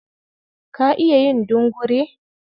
Ka iya yin dungure?